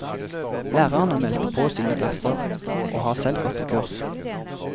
Lærerne meldte på sine klasser, og har selv gått på kurs.